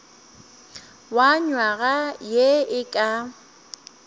wa nywaga ye e ka